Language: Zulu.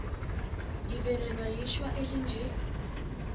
ngivelelwa yishwa elinje